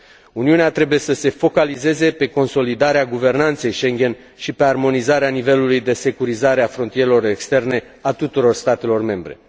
Uniunea trebuie să se concentreze pe consolidarea guvernanței Schengen și pe armonizarea nivelului de securizare a frontierelor externe a tuturor statelor membre.